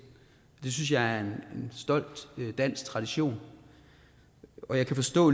det synes jeg er en stolt dansk tradition og jeg kan forstå